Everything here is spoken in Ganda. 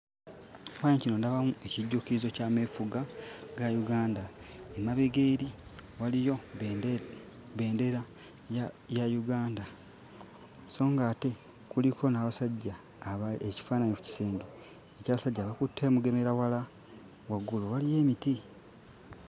Mu kifaananyi kino ndabamu ekijjukizo ky'ameefuga ga Uganda. Emabega eri waliyo bbendera ya Uganda. So ng'ate kuliko n'abasajja aba ekifaananyi ku kisenge eky'abasajja abakutte emigemerawala. Waggulu waliyo emiti.